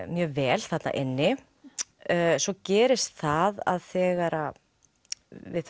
mjög vel þarna inni svo gerist það að þegar við